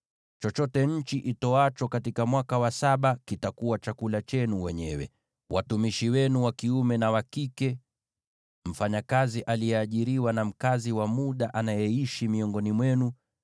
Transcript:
Chochote nchi itoacho katika mwaka wa Sabato kitakuwa chakula chenu wenyewe, watumishi wenu wa kiume na wa kike, mfanyakazi aliyeajiriwa, na mkazi wa muda anayeishi miongoni mwenu,